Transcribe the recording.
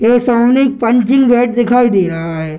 यह सामने एक पंचिंग बैग दिखाई दे रहा है।